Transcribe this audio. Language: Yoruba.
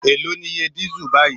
Èló ni iye dísẹ́ẹ̀lì báyìí?